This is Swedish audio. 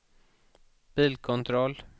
bilkontroll